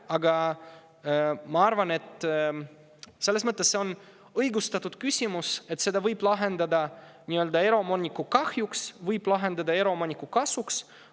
Aga ma arvan, et selles mõttes on see õigustatud küsimus, et seda võib lahendada nii eraomaniku kahjuks kui ka eraomaniku kasuks.